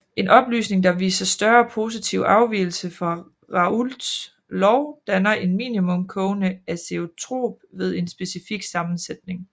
En opløsning der viser større positiv afvigelse fra Raoults lov danner en minimum kogende azeotrop ved en specifik sammensætning